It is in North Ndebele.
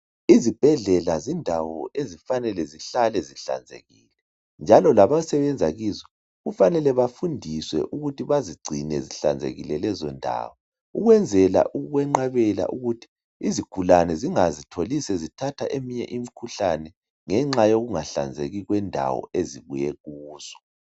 Izibhedlela zindawo ezifanele zihlale zihlanzekile njalo lalabo abasebenza kizo kufanele bafundiswe ukuthi bazigcine zihlanzekile lezi ndawo ukwenzela ukwenqabela ukuthi izigulane zingazitholi sezithathe eminye emikhuhlaneni ngenxa yendawo ezivele kuzo